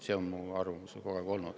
See on minu arvamus.